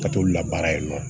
Ka t'olu labaara yen nɔ